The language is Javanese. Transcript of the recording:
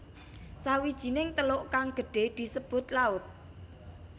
Sawijining teluk kang gedhe disebut laut